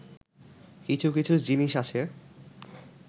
কিছু কিছু জিনিস আছে